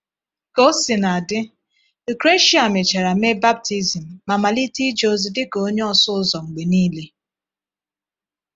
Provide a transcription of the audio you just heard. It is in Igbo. Ka ọ si na adị, Lucresia mechara mee baptizim ma malite ije ozi dị ka onye ọsụ ụzọ mgbe niile.